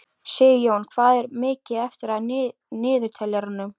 Sigjón, hvað er mikið eftir af niðurteljaranum?